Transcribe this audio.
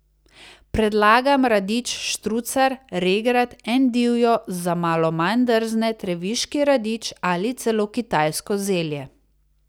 Predlagam radič štrucar, regrat, endivijo, za malo manj drzne treviški radič ali celo kitajsko zelje.